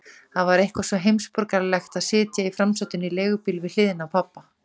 Það var eitthvað svo heimsborgaralegt að sitja í framsætinu í leigubíl við hliðina á pabba.